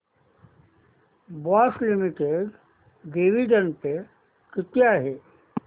Bosch limited dividend pay किती आहे